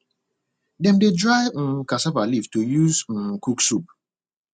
dem dey dry um cassava leaf to use um cook soup